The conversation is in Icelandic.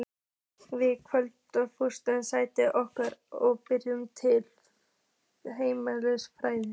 Við kvöddum hrjúfa sessunautinn okkar og bjuggumst til heimferðar.